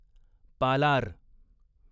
Palar